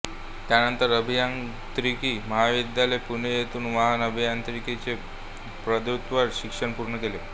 त्यानंतर अभियांत्रिकी महाविद्यालय पुणे येथून वाहन अभियांत्रिकी चे पदव्युत्तर शिक्षण पूर्ण केले